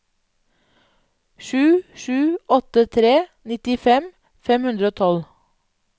sju sju åtte tre nittifem fem hundre og tolv